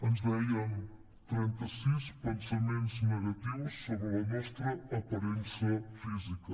ens deien trenta sis pensaments negatius sobre la nostra aparença física